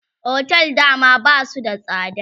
otel da dama Basu da tsada